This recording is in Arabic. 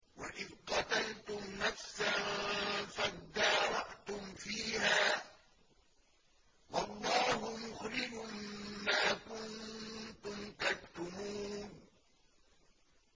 وَإِذْ قَتَلْتُمْ نَفْسًا فَادَّارَأْتُمْ فِيهَا ۖ وَاللَّهُ مُخْرِجٌ مَّا كُنتُمْ تَكْتُمُونَ